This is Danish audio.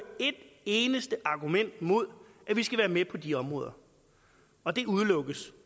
et eneste argument imod at vi skal være med på de områder og det udelukkes